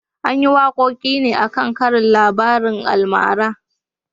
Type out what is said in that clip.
An yi wakokin ne a kan karin labarin almara